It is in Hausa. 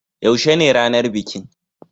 Yaushe ne ranar bikin?